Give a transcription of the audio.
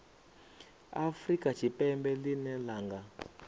afrika tshipembe ḽine ḽa nga